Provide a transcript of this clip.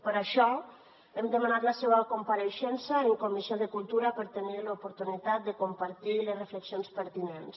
per això hem demanat la seua compareixença en la comissió de cultura per tenir l’oportunitat de compartir les reflexions pertinents